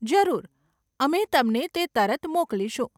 જરૂર, અમે તમને તે તરત મોકલીશું.